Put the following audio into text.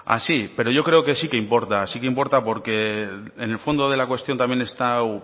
así pero yo creo que sí que importa porque en el fondo de la cuestión también está